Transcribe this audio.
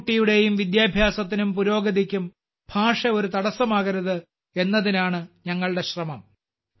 ഒരു കുട്ടിയുടെയും വിദ്യാഭ്യാസത്തിനും പുരോഗതിക്കും ഭാഷ ഒരു തടസ്സമാകരുത് എന്നതിനാണ് നമ്മുടെ ശ്രമം